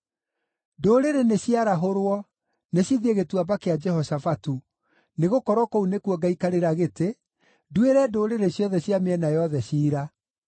“Ndũrĩrĩ nĩciarahũrwo; nĩcithiĩ Gĩtuamba kĩa Jehoshafatu, nĩgũkorwo kũu nĩkuo ngaikarĩra gĩtĩ, nduĩre ndũrĩrĩ ciothe cia mĩena yothe ciira.